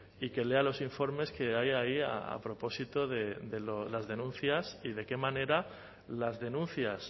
y que lea los informes que hay ahí a propósito de las denuncias y de qué manera las denuncias